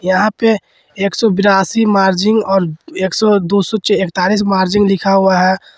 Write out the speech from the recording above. यहां पर एक सौ बयासी मार्जिन औरएक सौ दो सौ इक्तालीस मार्जिन लिखा हुआ है।